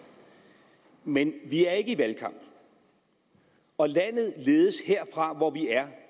men vi er ikke i valgkamp og landet ledes herfra hvor vi er